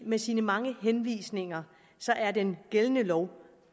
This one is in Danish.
med sine mange henvisninger er den gældende lov